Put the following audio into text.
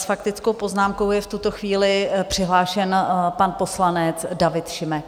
S faktickou poznámkou je v tuto chvíli přihlášen pan poslanec David Šimek.